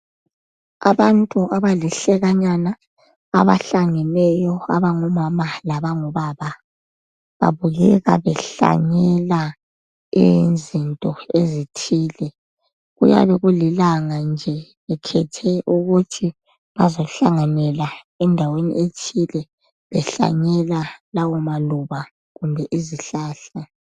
Abantu abalihlekanyana abahlangeneyo abango mama labangobaba babukeka behlanyela izinto ezithile kuyabe kulilanga nje bekhethe ukuthi bazohlanganela endaweni ethile behlanyela lawo amaluba kumbe izihlahla.